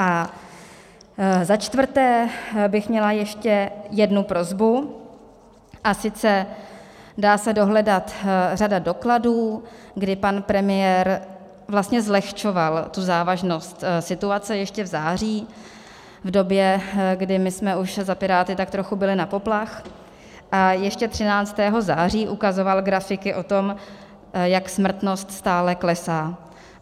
A za čtvrté bych měla ještě jednu prosbu, a sice dá se dohledat řada dokladů, kdy pan premiér vlastně zlehčoval tu závažnost situace ještě v září, v době, kdy my jsme už za Piráty tak trochu bili na poplach, a ještě 13. září ukazoval grafiky o tom, jak smrtnost stále klesá.